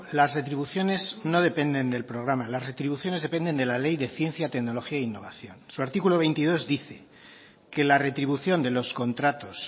las retribuciones no dependen del programa las retribuciones dependen de la ley de ciencia tecnología e innovación su artículo veintidós dice que la retribución de los contratos